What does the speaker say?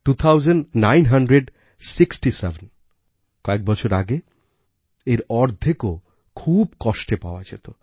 TwoThousand nine hundred sixty Sevenকয়েক বছর আগে এর অর্ধেকও খুব কষ্টে পাওয়া যেত